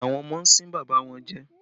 Àwọn ọmọ ń sín bàbá wọn jẹ